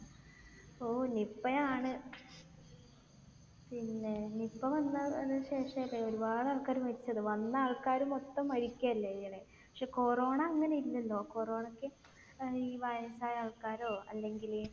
ആഹ് Nipah യാണ് പിന്നെ Nipah വന്നതിന് ശേഷം അല്ലെ ഒരുപാട് ആൾക്കാർ മരിച്ചത്? വന്ന ആൾക്കാർ മൊത്തം മരിക്കല്ലേ ചെയ്യൽ. പക്ഷെ Corona അങ്ങനെ ഇല്ലല്ലോ. Corona ക്ക് ഏർ ഈ വയസ്സായ ആൾക്കാരോ അല്ലെങ്കിൽ